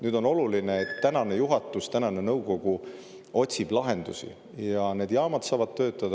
Nüüd, on oluline, et tänane juhatus, tänane nõukogu otsib lahendusi ja need jaamad saavad töötada.